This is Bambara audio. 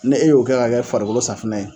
Ne y'o kɛ ka kɛ farikolosafinɛ ye